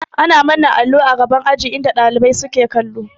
Ana manna allo a gaban aji inda ɗalibai suke kallo